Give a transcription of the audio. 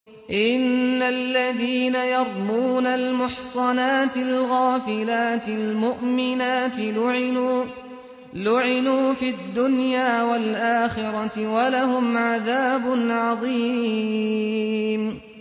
إِنَّ الَّذِينَ يَرْمُونَ الْمُحْصَنَاتِ الْغَافِلَاتِ الْمُؤْمِنَاتِ لُعِنُوا فِي الدُّنْيَا وَالْآخِرَةِ وَلَهُمْ عَذَابٌ عَظِيمٌ